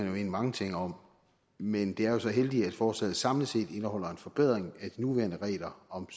jo mene mange ting om men det er jo så heldigt at forslaget samlet set indeholder en forbedring af de nuværende regler om